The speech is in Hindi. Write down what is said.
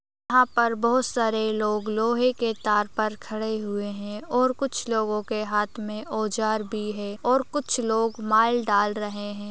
यहाँ पर बहुत सारे लोग लोहे के तार पर खड़े हुए हैं और कुछ लोगों के हाथ में औजार भी है और कुछ लोग माल डाल रहे हैं।